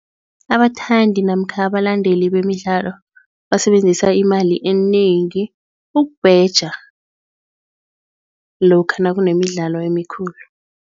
Abathandi namkha abalandeli bemidlalo basebenzisa imali enengi ukubheja lokha nakunemidlalo emikhulu.